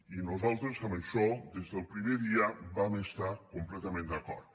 i nosaltres en això des del primer dia vam estar completament d’acord